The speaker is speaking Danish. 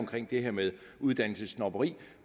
det her med uddannelsessnobberi